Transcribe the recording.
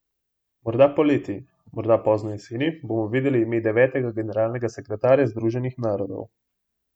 Morda poleti, morda pozno jeseni bomo vedeli ime devetega generalnega sekretarja Združenih narodov.